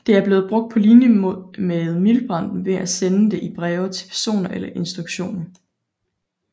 Det er blevet brugt på linje med miltbrand ved at sende det i breve til personer eller instutioner